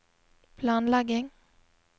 planlegging